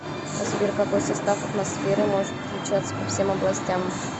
сбер какой состав атмосферы может отличаться по всем областям